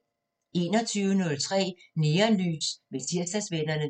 21:03: Neonlys med Tirsdagsvennerne